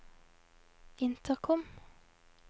intercom